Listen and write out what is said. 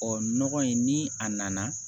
Ɔ nɔgɔ in ni a nana